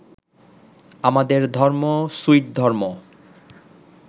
আমাদের ধর্ম সুইট ধর্ম